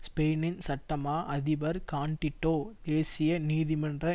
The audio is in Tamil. ஸ்பெயினின் சட்டமா அதிபர் கான்டிடோ தேசிய நீதிமன்றம்